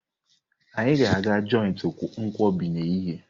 Anyị ga-aga joiti nkwobi n'ehihie